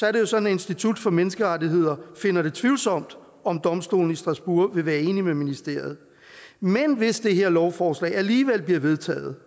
er det jo sådan at institut for menneskerettigheder finder det tvivlsomt om domstolen i strasbourg vil være enig med ministeriet men hvis det her lovforslag alligevel bliver vedtaget